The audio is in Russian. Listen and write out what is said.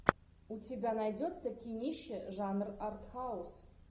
у тебя найдется кинище жанр артхаус